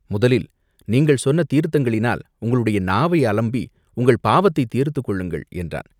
முதலில் நீங்கள் சொன்ன தீர்த்தங்களினால் உங்களுடைய நாவை அலம்பி உங்கள் பாவத்தைத் தீர்த்துக் கொள்ளுங்கள்!" என்றான்.